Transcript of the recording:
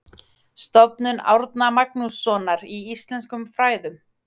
Stofnun Árna Magnússonar í íslenskum fræðum.